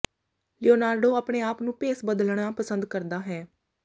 Leonardo ਆਪਣੇ ਆਪ ਨੂੰ ਭੇਸ ਬਦਲਣਾ ਪਸੰਦ ਕਰਦਾ ਹੈ